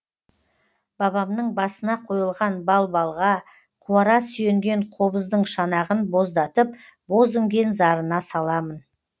бабамның басына қойылған балбалға қуара сүйенген қобыздың шанағын боздатып боз іңген зарына саламын